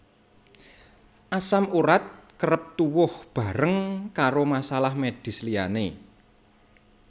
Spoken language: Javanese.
Asam urat kerep tuwuh bareng karo masalah medis liyane